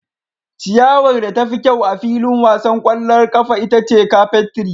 Ciyawar da tafi kyau a filin wasan ƙwallon ƙafa ita ce carpet tree.